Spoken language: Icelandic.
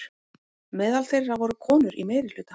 Meðal þeirra voru konur í meirihluta.